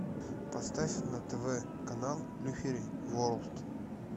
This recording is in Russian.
поставь на тв канал люфери ворлд